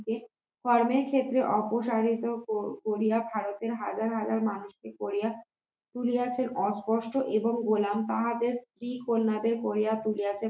কারণে সে যে অপসারিত কোরিয়া ভারতের হাজার হাজার মানুষকে করিয়া তুলিয়াছে এবং গোলাম তাহাদের স্ত্রী কন্যাদের করিয়া তুলিয়াছে